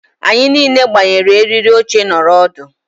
anyị niile gbanyere eriri oche nọrọ ọdụ